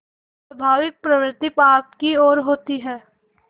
स्वाभाविक प्रवृत्ति पाप की ओर होती है